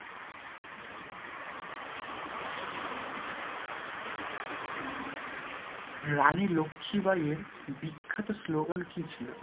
রানী লক্ষী বাঈয়ের বিখ্যাত স্লোগান কি ছিল?